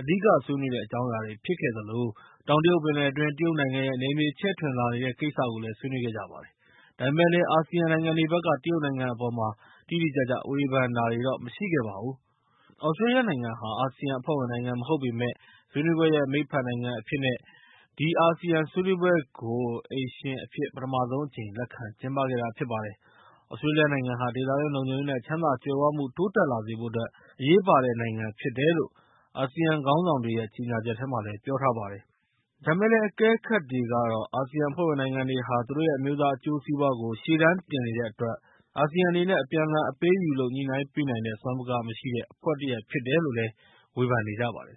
အဓိကဆွေးနွေးတဲ့ အကြောင်းအရာတွေဖြစ်ခဲ့သလို၊ တောင်တရုတ်ပင်လယ်အတွင်း တရုတ်နိုင်ငံရဲ့ နယ်မြေချဲ့ထွင်လာနေတဲ့ကိစ္စကိုလည်း ဆွေးနွေးခဲ့ကြပါတယ်။ ဒါပေမဲ့လည်း အာဆီယံနိုင်ငံတွေဘက်က တရုတ်နိုင်ငံအပေါ် တိတိကျကျဝေဖန်တာတွေတော့ မရှိခဲ့ပါဘူး။ သြစတြေးလျနိုင်ငံဟာ အာဆီယံအဖွဲ့ဝင်နိုင်ငံမဟုတ်ပေမယ့်၊ ဆွေးနွေးပွဲရဲ့မိတ်ဖက်နိုင်ငံအဖြစ်နဲ့ ဒီအာဆီယံဆွေးနွေးပွဲကို အိမ်ရှင်အဖြစ်နဲ့ ပထမဆုံးအကြိမ်လက်ခံကျင်းပခဲ့တာဖြစ်ပါတယ်။ သြစတြေးလျနိုင်ငံဟာ ဒေသတွင်းလုံခြုံရေး နဲ့ ချမ်းသာကြွယ်ဝမှု တိုးတက်လာစေဖို့အတွက် အရေးပါတဲ့မိတ်ဖက်နိုင်ငံဖြစ်တယ်လို့ အာဆီယံခေါင်းဆောင်တွေရဲ့ ကြေငြာချက်ထဲမှာ ပြောထားပါတယ်။ အကဲခတ်တွေကတော့ အာဆီယံအဖွဲ့ဝင်နိုင်ငံတွေဟာ သူတို့ရဲ့ အမျိုးသားအကျိုးစီးပွားတွေကို ရှေ့တန်းတင်နေတဲ့အတွက် ၊ အာဆီယံအနေနဲ့ အပြန်အလှန်အပေးအယူလုပ် ညှိနှိုင်းပေးနိုင်တဲ့ စွမ်းပကားမရှိတဲ့ အဖွဲ့အစည်းတရပ်ဖြစ်နေတယ်လို့ ဝေဖန်နေကြပါတယ်